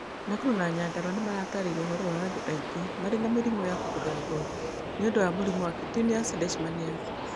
Nakuru na Nyandarua nĩ marataarĩirie ũhoro wa andũ aingĩ marĩ na mĩrimũ ya kũbutha ngothi nĩ ũndũ wa mũrimũ wa cutaneous leishmaniasis.